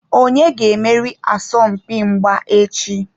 Onye ga-emeri asọmpi mgba echi?